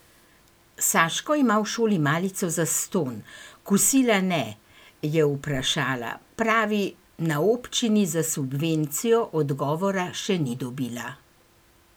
Saško ima v šoli malico zastonj, kosila ne, je vprašala, pravi, na občini za subvencijo, odgovora še ni dobila.